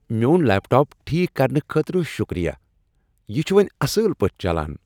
میٚون laptop ٹھیک کرنہٕ خٲطرٕ شٗکریہ۔ یہ چُھ وۄنۍ اصل پٲٹھۍ چلان۔